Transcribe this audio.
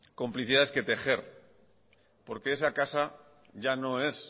complicidades que tejer porque esa casa ya no es